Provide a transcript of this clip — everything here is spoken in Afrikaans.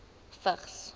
vigs